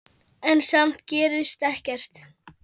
En samt gerðist ekkert.